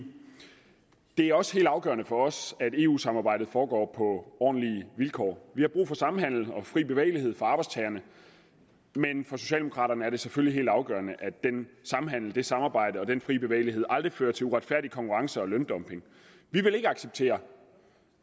det er også helt afgørende for os at eu samarbejdet foregår på ordentlige vilkår vi har brug for samhandel og fri bevægelighed for arbejdstagerne men for socialdemokraterne er det selvfølgelig helt afgørende at den samhandel det samarbejde og den frie bevægelighed aldrig fører til uretfærdig konkurrence og løndumping vi vil ikke acceptere